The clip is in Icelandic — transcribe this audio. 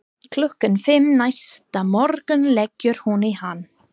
Klukkan fimm næsta morgun leggur hún í hann.